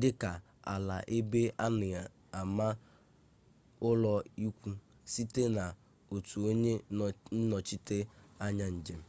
dị ka ala ebe a na-ama ụlọikwu sitere n'otu onye nnọchite anya njem